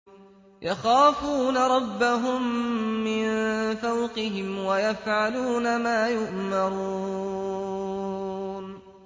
يَخَافُونَ رَبَّهُم مِّن فَوْقِهِمْ وَيَفْعَلُونَ مَا يُؤْمَرُونَ ۩